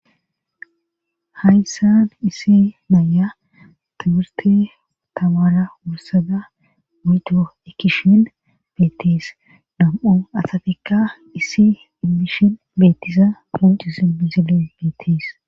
Hayssan isi naya tuburte tamara wursada mito ekishien beettis dam'o asatikka iisi immishin beettisa poncisi bizilen beetis